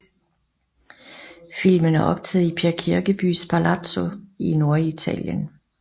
Filmen er optaget i Per Kirkebys palazzo i Norditalien